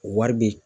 O wari bɛ